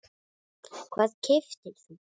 Hvað keyptir þú?